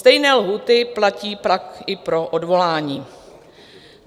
Stejné lhůty platí pak i pro odvolání.